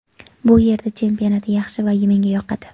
Bu yerda chempionat yaxshi va menga yoqadi.